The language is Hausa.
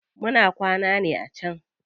Muna kwana ne a can.